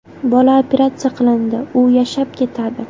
Bola operatsiya qilindi, u yashab ketadi.